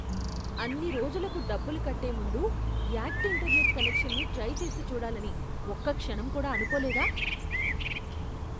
అన్ని రోజులకు డబ్బులు కట్టే ముందు యాక్ట్ ఇంటర్నెట్ కనెక్షన్ని ట్రై చేసి చూడాలని ఒక్క క్షణం కూడా అనుకోలేదా?